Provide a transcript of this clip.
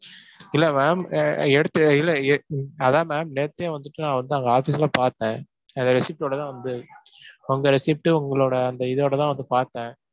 இல்ல ma'am அஹ் எடுத்து இல்ல எ~ அதான் ma'am நேத்தே வந்துட்டு நான் வந்து அங்க office ல பார்த்தேன். அந்த receipt ஓட தான் வந்து உங்க receipt டு உங்களோட அந்த இதோட தான் வந்து பார்த்தேன்.